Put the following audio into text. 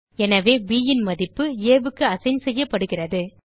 எனவே ப் ன் மதிப்பு aக்கு அசைன் செய்யப்படுகிறது